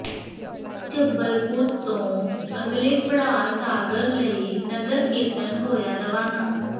ਜੱਬਲਪੁਰ ਤੋਂ ਅਗਲੇ ਪੜਾਅ ਸਾਗਰ ਲਈ ਨਗਰ ਕੀਰਤਨ ਹੋਇਆ ਰਵਾਨਾ